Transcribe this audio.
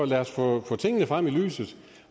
derfor få tingene frem i lyset